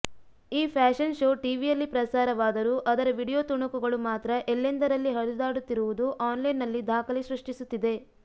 ಈ fashion show ಟಿವಿಯಲ್ಲಿ ಪ್ರಸಾರವಾದರೂ ಅದರ ವಿಡಿಯೋ ತುಣುಕುಗಳು ಮಾತ್ರ ಎಲ್ಲೆಂದರಲ್ಲಿ ಹರಿದಾಡುತ್ತಿರುವುದು ಆನ್ಲೈನ್ನಲ್ಲಿ ದಾಖಲೆ ಸೃಷ್ಟಿಸುತ್ತಿದೆ